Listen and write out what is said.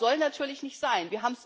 Das soll natürlich nicht sein.